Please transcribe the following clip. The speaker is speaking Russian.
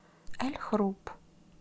эль хруб